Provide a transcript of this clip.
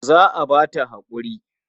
Za a ba ta haƙuri.